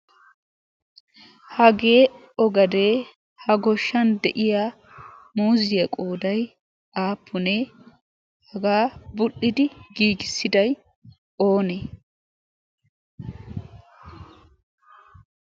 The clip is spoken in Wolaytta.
hagee ogadee ha goshshan de'iya muuziyaa qooday aappunee hagaa budhdhidi giigissidai oonee?